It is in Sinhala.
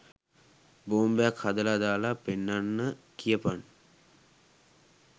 බෝම්බයක් හදලා දාලා පෙන්නන්න කියපන්